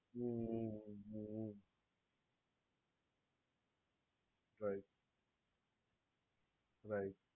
hmm hmm right right